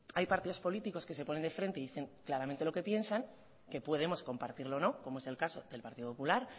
hay partidos políticos que se ponen de frente y dicen claramente lo que piensan que podemos compartirlo o no como es el caso del partido popular